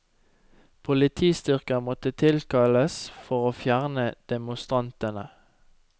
Politistyrker måtte tilkalles for å fjerne demonstrantene.